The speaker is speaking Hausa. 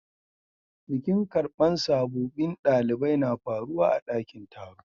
Bikin karban sabobin dalibai na faruwa a'dakin taro.